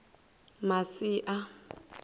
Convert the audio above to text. masia